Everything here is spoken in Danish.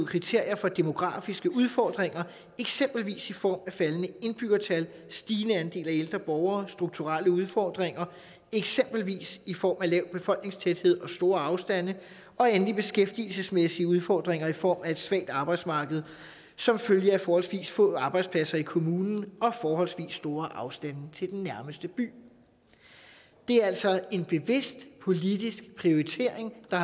kriterier for demografiske udfordringer eksempelvis i form af faldende indbyggertal og stigende andel af ældre borgere strukturelle udfordringer eksempelvis i form af lav befolkningstæthed og store afstande og endelig beskæftigelsesmæssige udfordringer i form af et svagt arbejdsmarked som følge af forholdsvis få arbejdspladser i kommunen og forholdsvis store afstande til den nærmeste by det er altså en bevidst politisk prioritering der